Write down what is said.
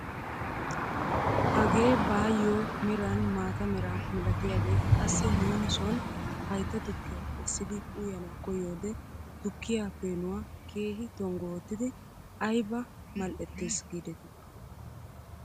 Hagee baayoo meran maata mera milatiyaagee qassi nuuni soni haytta tukkiyaa essidi uyana koyiyoode tukkiyaa peenuwaa keehi tonggu oottidi ayba mal"ettees gidetii!